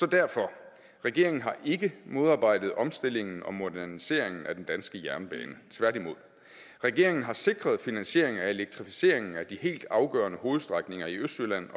derfor regeringen har ikke modarbejdet omstillingen og moderniseringen af den danske jernbane tværtimod regeringen har sikret finansieringen af elektrificeringen af de helt afgørende hovedstrækninger i østjylland